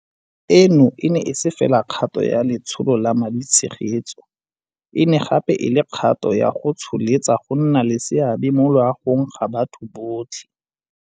Eno e ne e se fela kgato ya letsholo la maditshegetso, e ne gape e le kgato ya go tsholetsa go nna le seabe mo loagong ga batho botlhe.